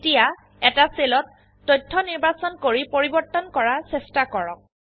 এতিয়া এটা সেলত তথ্য নিৰ্বাচন কৰি পৰিবৰ্তন কৰাৰ চেষ্টা কৰক